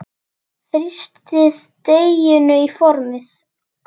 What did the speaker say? Þrýstið deiginu í formið.